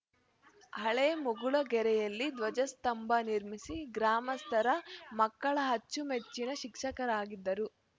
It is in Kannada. ಹಳೆ ಮುಗುಳಗೆರೆಯಲ್ಲಿ ಧ್ವಜಸ್ತಂಭ ನಿರ್ಮಿಸಿ ಗ್ರಾಮಸ್ಥರ ಮಕ್ಕಳ ಅಚ್ಚುಮೆಚ್ಚಿನ ಶಿಕ್ಷಕರಾಗಿದ್ದರು